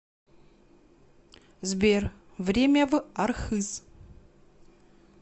сбер время в архыз